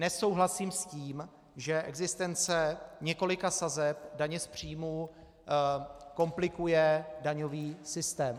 Nesouhlasím s tím, že existence několika sazeb daně z příjmu komplikuje daňový systém.